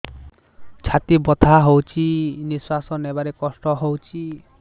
ଛାତି ବଥା ହଉଚି ନିଶ୍ୱାସ ନେବାରେ କଷ୍ଟ ହଉଚି